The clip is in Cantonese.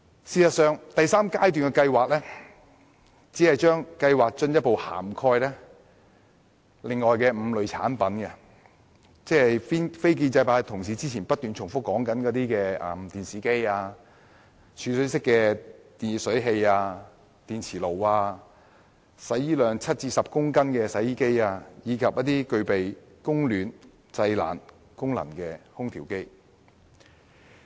事實上，第三階段只是進一步涵蓋另外5類產品，即非建制派同事之前不斷重提的電視機、儲水式電熱水器、電磁爐、額定洗衣量介乎7至10公斤的洗衣機，以及具備供暖及製冷功能的空調機。